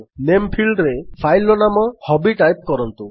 ନାମେ ଫିଲ୍ଡରେ ଫାଇଲ୍ ର ନାମ ହବି ଟାଇପ୍ କରନ୍ତୁ